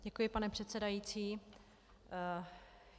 Děkuji, pane předsedající.